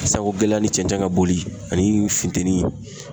San ko gɛlɛya ni cɛncɛn ka boli ani funtɛni.